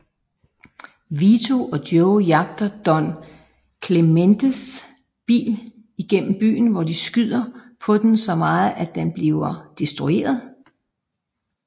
Vito og Joe jagter Don Clementes bil igennem byen hvor de skyder på den så meget at den bliver destrueret